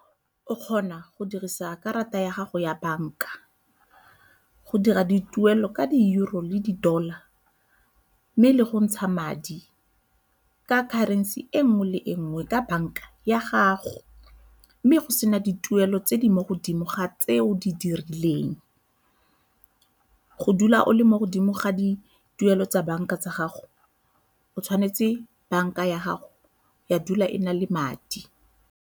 O kgona go dirisa karata ya gago ya banka go dira dituelo ka di-Euro le di-Dollar mme le go ntsha madi ka currency e nngwe le e nngwe ka banka ya gago mme go sena dituelo tse di mo godimo ga tseo di dirileng. Go dula o le mo godimo ga dituelo tsa banka tsa gago o tshwanetse banka ya gago ya dula e na le madi.